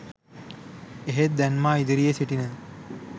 එහෙත් දැන් මා ඉදිරියේ සිටින